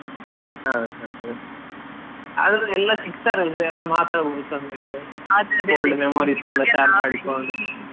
ಹೌದ್ ಹೌದು, ಆದ್ರೂ ಎಲ್ಲಾ ಸಿಗ್ತಾರೆ ಅಂದ್ರೆ ಎಲ್ಲಾ ಮಾತಾಡ್ಬೋದು ಚೆಂದಕೆ share ಮಾಡಿಕೊಂಡು.